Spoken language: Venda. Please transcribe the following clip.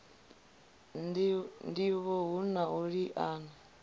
ndivho hu na u liana